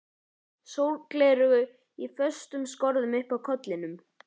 Sólgleraugu í föstum skorðum uppi á kollinum.